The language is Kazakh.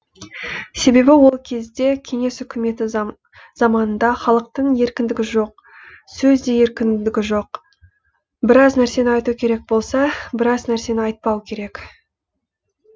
себебі ол кезде кеңес үкіметі заманында халықтың еркіндігі жоқ сөзде де еркіндік жоқ біраз нәрсені айту керек болса біраз нәрсені айтпау керек